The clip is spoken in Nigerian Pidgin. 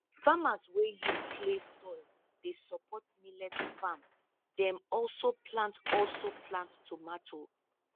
farmers wey use clay soil dey support millet farm dem also plant also plant tomato